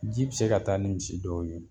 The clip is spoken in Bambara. Ji bɛ se ka taa ni misi dɔw ye.